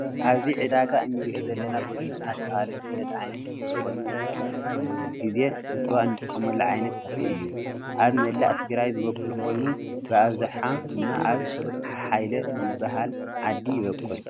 አብዚ ዕዳጋ እነሪኦ ዘለና ጌሾ እናተባህለ ዝፍለጥ ዓይነት ተክሊ ኮይኑ መብዛሕቲኢ ግዜ ንስዋ እንጥቀመሉ ዓይነት ተክሊ እዩ ። አብ መላእ ትግራይ ዝቦቅል ኮይኑ ብአብዛሕ ድማ አብ ሓሓይለ ዝበሃል ዓዲ ይቦቅል።